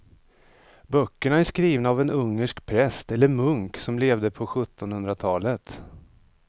Böckerna är skrivna av en ungersk präst eller munk som levde på sjuttonhundratalet.